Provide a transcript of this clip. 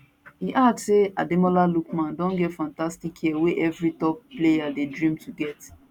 e add say ademola lookman don get fantastic year wey evri top player dey dream to get